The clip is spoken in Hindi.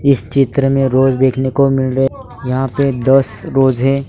इस चित्र में रोज देखने को मिल रा हैं यहां पे दस रोज है।